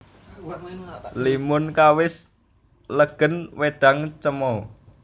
Limun kawis legèn wédang cemoè